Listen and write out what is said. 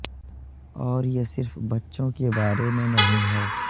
اور یہ صرف بچوں کے بارے میں نہیں ہے